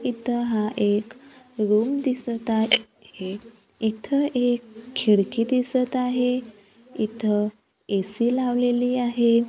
इथं हा एक रूम दिसत आहे इथं एक खिडकी दिसत आहे इथं ए_सी लावलेली आहे.